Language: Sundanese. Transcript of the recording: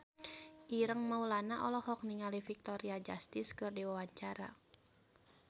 Ireng Maulana olohok ningali Victoria Justice keur diwawancara